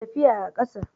tafiya a ƙasa